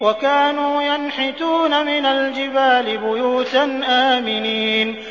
وَكَانُوا يَنْحِتُونَ مِنَ الْجِبَالِ بُيُوتًا آمِنِينَ